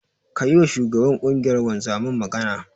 Ka yiwa shugaban ƙungiyar wanzaman magana.